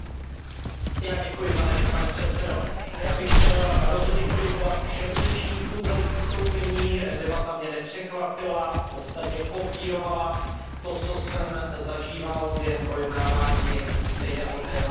Pane předsedající, já bych chtěl rozhodně poděkovat všem řečníkům za jejich vystoupení, debata mě nepřekvapila, v podstatě kopírovala to, co jsem zažíval během projednávání stejného tématu ve výboru.